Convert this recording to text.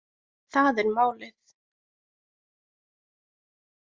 Það er málið